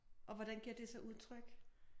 Og hvordan giver det så udtryk?